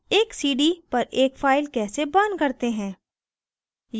एक cd पर एक file कैसे burn करते हैं